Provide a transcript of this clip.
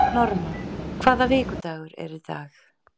Norma, hvaða vikudagur er í dag?